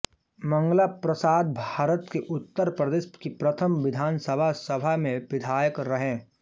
मंगला प्रसादभारत के उत्तर प्रदेश की प्रथम विधानसभा सभा में विधायक रहे